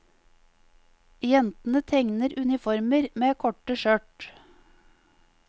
Jentene tegner uniformer med korte skjørt.